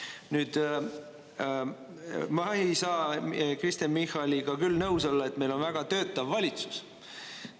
Nüüd, ma ei saa Kristen Michaliga küll nõus olla, et meil on väga töötav valitsus.